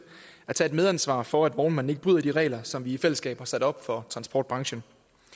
at tage et medansvar for at vognmanden ikke bryder de regler som vi i fællesskab har sat op for transportbranchen